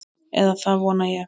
Eða það vona ég